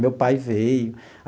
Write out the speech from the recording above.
Meu pai veio.